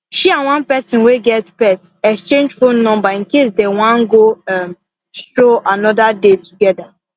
she and one person wey get pet exchange phone number in case they wan go um stroll another day together